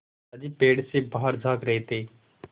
दादाजी पेड़ से बाहर झाँक रहे थे